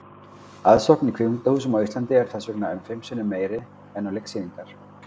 Aðsókn að kvikmyndahúsum á Íslandi er þess vegna um fimm sinnum meiri en á leiksýningar.